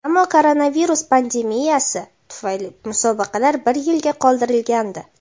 ammo koronavirus pandemiyasi tufayli musobaqalar bir yilga qoldirilgandi.